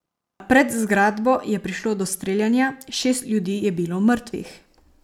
Pred zgradbo je prišlo do streljanja, šest ljudi je bilo mrtvih.